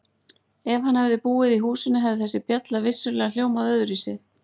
Ef hann hefði búið í húsinu hefði þessi bjalla vissulega hljómað öðruvísi.